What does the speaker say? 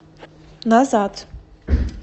назад